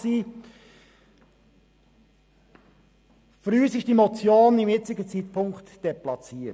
Uns erscheint die Motion zum jetzigen Zeitpunkt deplatziert.